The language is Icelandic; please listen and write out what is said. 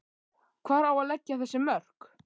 Hvar á að leggja þessi mörk?